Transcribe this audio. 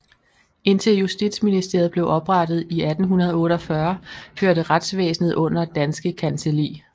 Indtil Justitsministeriet blev oprettet i 1848 hørte retsvæsenet under Danske Kancelli